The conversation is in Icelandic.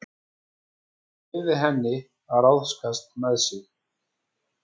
Hann leyfir henni að ráðskast með sig.